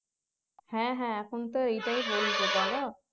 হ্যাঁ হ্যাঁ এখন তো এইটাই বলবে বলো